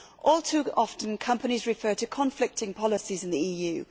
All too often, companies refer to conflicting policies in the EU.